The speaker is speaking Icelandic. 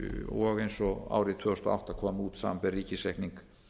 og eins og árið tvö þúsund og átta kom út samanber ríkisreikning